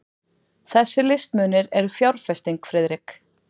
Þessir listmunir eru fjárfesting, Friðrik.